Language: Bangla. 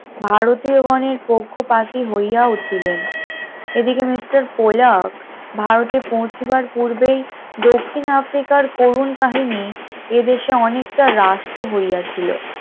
ভারতীয় গনের পক্ষপাতি হইয়া উঠিলেন, এদিকে mister কোলাক ভারতে পৌঁছেবার পূর্বেই দক্ষিণ আফ্রিকার করুন কাহিনী এ দেশে অনেকটা রাষ্ট্র হইয়াছিল